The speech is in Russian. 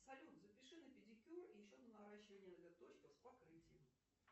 салют запиши на педикюр и еще на наращивание ноготочков с покрытием